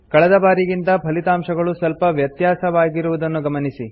ಕಳೆದಬಾರಿಗಿಂತ ಫಲಿತಾಂಶಗಳು ಸ್ವಲ್ಪ ವ್ಯತ್ಯಾಸವಾಗಿರುವುದನ್ನು ಗಮನಿಸಿ